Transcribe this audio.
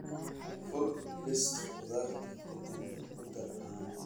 fur liiska khudaarta ka dibna ku dar caano